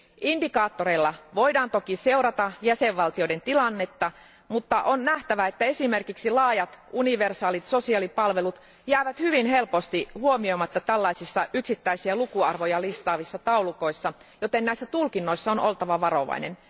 Indikaattoreilla voidaan toki seurata jäsenvaltioiden tilannetta, mutta on nähtävä, että esimerkiksi laajat universaalit sosiaalipalvelut jäävät hyvin helposti huomioimatta tällaisissa yksittäisiä lukuarvoja listaavissa taulukoissa, joten näissä tulkinnoissa on oltava varovainen.